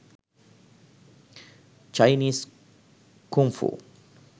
chinese kung fu